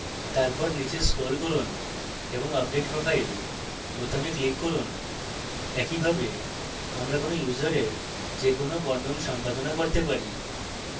তারপর নীচে scroll করুন এবং update profile বোতামে click করুন একইভাবে আমরা কোনো ইউসারের যে কোনো বর্ণন সম্পাদনা করতে পারি